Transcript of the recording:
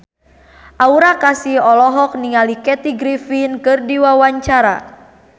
Aura Kasih olohok ningali Kathy Griffin keur diwawancara